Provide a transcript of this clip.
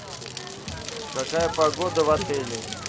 какая погода в отеле